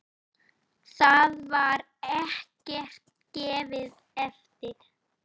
Þar var ekkert gefið eftir.